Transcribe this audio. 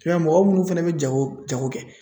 I b'a ye mɔgɔ munnu fɛnɛ be jago jago kɛ